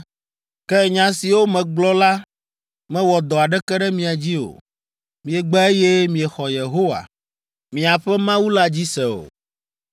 Ke nya siwo megblɔ la mewɔ dɔ aɖeke ɖe mia dzi o. Miegbe eye miexɔ Yehowa, miaƒe Mawu la dzi se o,